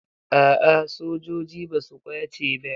A'a sojoji ba su ƙwace ba.